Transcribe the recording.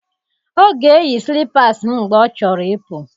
Ọ ga-eyi slipassi m mgbe ọ chọrọ ịpụ.